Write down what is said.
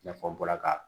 I n'a fɔ n bɔra ka